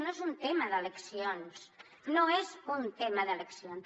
no és un tema d’eleccions no és un tema d’eleccions